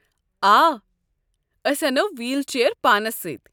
آ، أسۍ اَنو ویٖل چییر پانس سۭتۍ۔